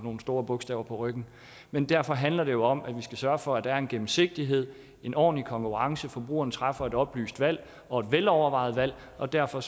store bogstaver på ryggen men derfor handler det jo om at vi skal sørge for at der er en gennemsigtighed en ordentlig konkurrence forbrugerne træffer et oplyst valg og et velovervejet valg og derfor